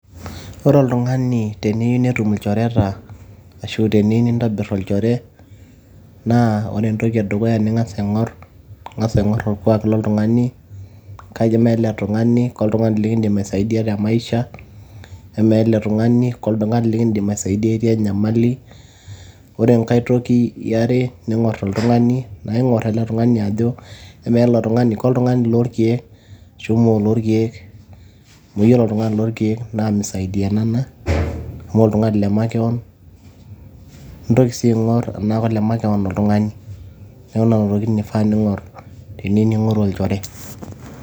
Ore ltungani teneyieu netum ilchoreta ashu teniyieu nintobir olchore ,naa ore entoki edukuya ningas aingor , ingas aingor orkwak loltungani , kamaa ele tungani ,ke oltungani likidim aisaidia te maisha . amaa ele tungani ke oltungani likidim aisaidia itiii atua enyamali. ore enkae toki eyiare naa ingor oltungani , ningor ele tungani ajo kltungani lorkiek ashu moo lordiek. amu ore oltungani loorkieek naa misaidianana amu oltungani le makewon . nintki sii aingor tenaa kole makewon oltungani . niaku nena tokitin ingor teniyieu ningoru olchore.